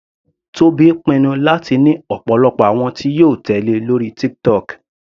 Tobi pinnu láti ní ọ̀pọ̀lọpọ̀ àwọn tí yóò tèlé lórí TikTok.